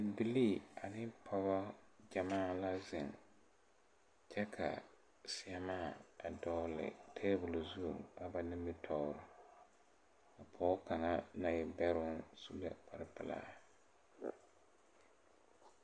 Bibilii ane pɔgɔ gyɛmaa la zeŋ kyɛ ka seɛmaa a dɔgle tabol zu a ba nimitoore pɔɔ kaŋa na e bɛroŋ su la kparepilaa.